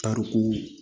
Tariku